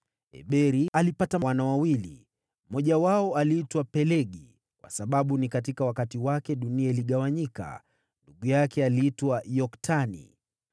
Eberi alipata wana wawili: Mmoja wao aliitwa Pelegi, kwa kuwa wakati wake dunia iligawanyika; nduguye aliitwa Yoktani.